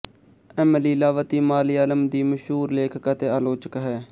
M Leelavathi Malayalam ਦੀ ਮਸ਼ਹੂਰ ਲੇਖਕ ਅਤੇ ਆਲੋਚਕ ਹੈ